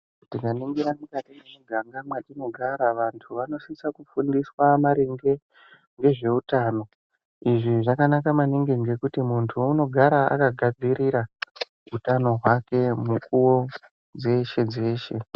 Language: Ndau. Tikaningira mukati mwemiganga mwatinogara vantu vanosisa kufundiswa maringe ngezveutano izvi zvakanaka maningi ngekuti muntu unogara akagadzirira utano hwake mukuwo dzeshe-dzeshe.